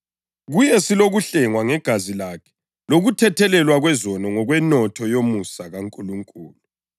Kuye silokuhlengwa ngegazi lakhe lokuthethelelwa kwezono ngokwenotho yomusa kaNkulunkulu